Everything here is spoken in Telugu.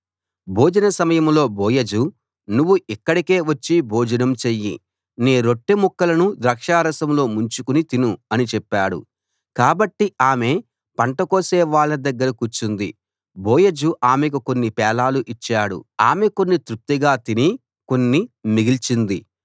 భోజన సమయంలో బోయజు నువ్వు ఇక్కడికే వచ్చి భోజనం చెయ్యి నీ రొట్టెముక్కలను ద్రాక్షారసంలో ముంచుకుని తిను అని చెప్పాడు కాబట్టి ఆమె పంట కోసే వాళ్ళ దగ్గర కూర్చుంది బోయజు ఆమెకు కొన్ని పేలాలు ఇచ్చాడు ఆమె కొన్ని తృప్తిగా తిని కొన్ని మిగిల్చింది